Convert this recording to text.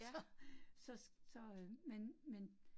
Så så så øh men men